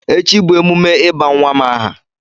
Echi bụ emume ịba nwa m aha.